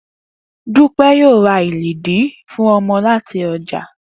Dúpé̩ yóò ra iledìí fún o̩mo̩ láti o̩jà